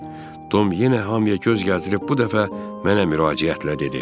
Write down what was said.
Tom yenə hamıya göz gəzdirib bu dəfə mənə müraciətlə dedi.